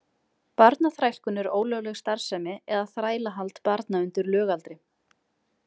Barnaþrælkun er ólögleg starfsemi eða þrælahald barna undir lögaldri.